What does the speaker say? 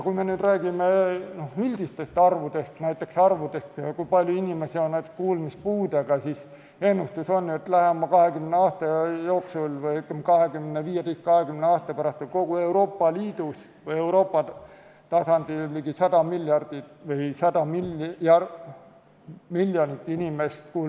Kui me nüüd räägime üldistest arvudest, näiteks kui palju inimesi on kuulmispuudega, siis ennustus on, et lähema 20 aasta jooksul või 15–20 aasta pärast on kogu Euroopa Liidus või Euroopas ligi 100 miljonit kuulmispuudega inimest.